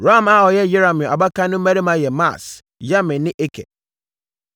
Ram a ɔyɛ Yerahmeel abakan no mmammarima yɛ Maas, Yamin ne Eker.